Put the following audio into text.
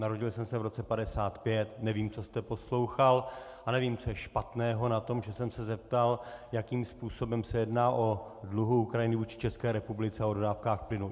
Narodil jsem se v roce 1955, nevím, co jste poslouchal a nevím, co je špatného na tom, že jsem se zeptal, jakým způsobem se jedná o dluhu Ukrajiny vůči České republice a o dodávkách plynu.